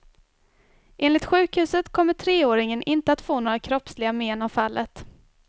Enligt sjukhuset kommer treåringen inte att få några kroppsliga men av fallet.